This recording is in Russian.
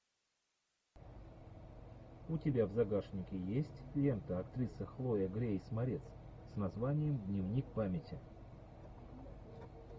у тебя в загашнике есть лента актриса хлоя грейс морец с названием дневник памяти